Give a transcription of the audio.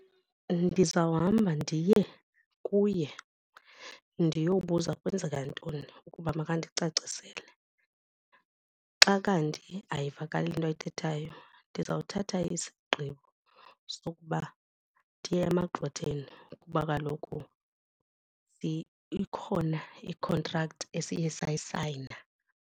Ndizawuhamba ndiye kuye ndiyobuza kwenzeka ntoni ukuba makandicacisele. Xa kanti ayivakali into ayithethayo ndiza kuthatha isigqibo sokuba ndiye emagqwetheni kuba kaloku ikhona i-contract esiye sayisayina.